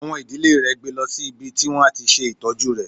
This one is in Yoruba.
Àwọn ìdílé rè gbe lọ sí ibi tí wọ́n á ti ṣe ìtọ́jú rẹ.